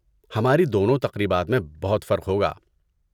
ہماری دونوں تقریبات میں بہت فرق ہوگا۔